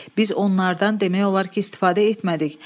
Biz onlardan demək olar ki, istifadə etmədik.